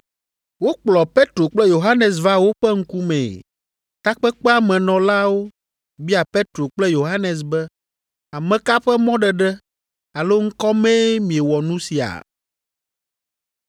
Wokplɔ Petro kple Yohanes va woƒe ŋkumee. Takpekpea me nɔlawo bia Petro kple Yohanes be, “Ame ka ƒe mɔɖeɖe alo ŋkɔ mee miewɔ nu sia?”